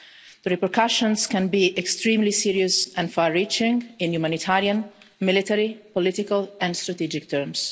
The repercussions can be extremely serious and far-reaching in humanitarian, military, political and strategic terms.